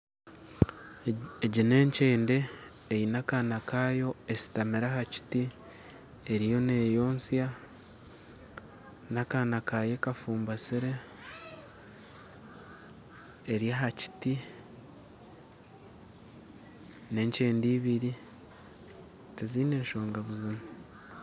Egi nenkyende eine akaana kayo eshutamire aha Kiti eriyo neeyotsya n'akaana kayo ekafumbatsire eri aha Kiti nenkyende ibiri tiziine nshonga buzima.